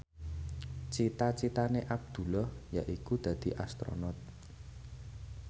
cita citane Abdullah yaiku dadi Astronot